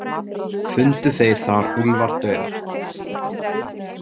Fundu þeir þar Úlfar dauðan.